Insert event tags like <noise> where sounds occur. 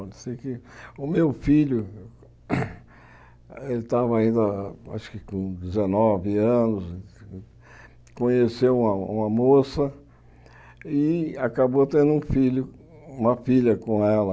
O meu filho, <coughs> ele estava ainda acho que com dezenove anos, conheceu uma uma moça e acabou tendo um filho, uma filha com ela.